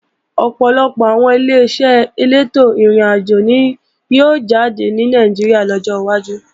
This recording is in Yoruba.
Ọ̀pọ̀lọpọ̀ àwọn Ileṣẹ́ elétò ìrìnàjò ni yóò jáde ní Nàìjíríà lọ́jọ́ wájú